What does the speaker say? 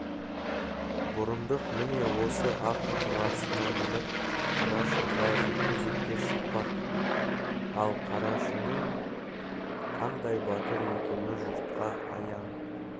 бұрындық міне осы ақ бурасына мініп қарашыңға жекпе-жекке шықпақ ал қарашыңның қандай батыр екені жұртқа аян